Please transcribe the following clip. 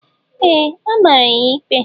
Ee! A mara ya ikpe.